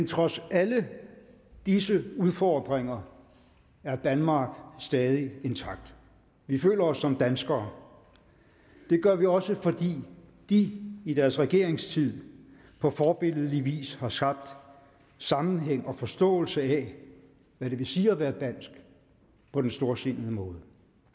trods alle disse udfordringer er danmark stadig intakt vi føler os som danskere det gør vi også fordi de i deres regeringstid på forbilledlig vis har skabt sammenhæng og forståelse af hvad det vil sige at være dansk på den storsindede måde